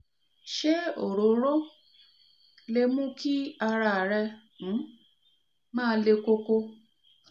se orooro lè mú kí ara rẹ um ma le koko